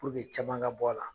caman ka bɔ a la.